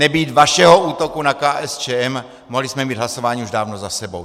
Nebýt vašeho útoku na KSČM, mohli jsme mít hlasování už dávno za sebou.